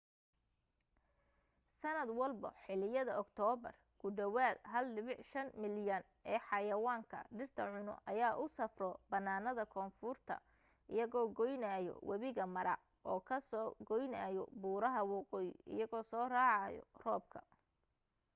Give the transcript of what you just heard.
sanad walbo xiliyada oktoobar ku dhawaad 1.5 milyan ee xayawaanka dhirta cuno ayaa u safro bannaanada koonfurta iyagoo goynaayo wabiga mara oo ka soo goynaayo buuraha waqooyi iyagoo soo raacayo roobka